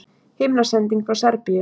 Himnasending frá Serbíu